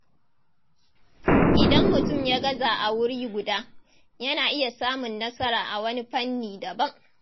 Idan mutum ya gaza a wuri guda, yana iya samun nasara a wani fanni daban.